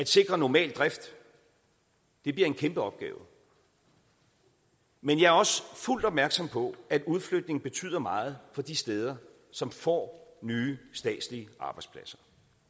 sikre normal drift bliver en kæmpeopgave men jeg er også fuldt opmærksom på at udflytning betyder meget for de steder som får nye statslige arbejdspladser